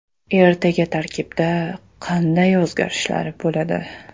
Ertaga tarkibda qanday o‘zgarishlar bo‘ladi?